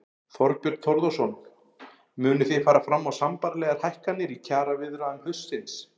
Þorbjörn Þórðarson: Munið þið fara fram á sambærilegar hækkanir í kjaraviðræðum haustsins?